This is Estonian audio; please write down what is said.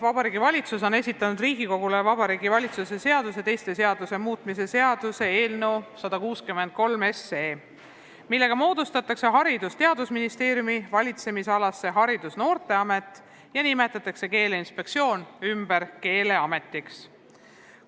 Vabariigi Valitsus on esitanud Riigikogule Vabariigi Valitsuse seaduse ja teiste seaduste muutmise seaduse eelnõu, millega moodustatakse Haridus- ja Teadusministeeriumi valitsemisalas Haridus- ja Noorteamet ning nimetatakse Keeleinspektsioon ümber Keeleametiks.